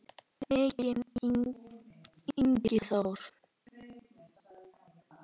Maki, Ingi Þór.